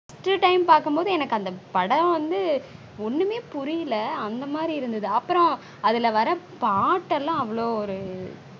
first time பார்க்கும் போது அந்த படம் வந்து ஒன்னுமே புரியல அந்த மாதிரி இருந்தது அப்புறம் அதுல வர்ர பாட்டு எல்லாம் அவ்ளொ